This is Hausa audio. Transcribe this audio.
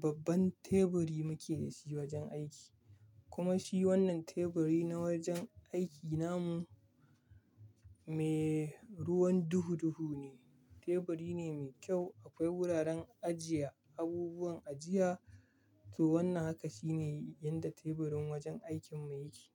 babban teburi muke da shi wajen aiki. Kuma shi wannan teburi na wajen aiki namu, me ruwan duhu duhu ne. Teburi ne mai kyau, akwai wuraren ajiye abubuwan ajiya. To wannan haka shine yadda teburin wajen aikin mu yake.